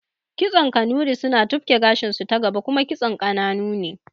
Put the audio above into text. Kitson Kanuri suna tufki gashinsu ta gaba kuma kitson ƙananu ne